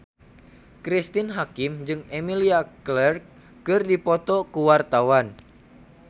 Cristine Hakim jeung Emilia Clarke keur dipoto ku wartawan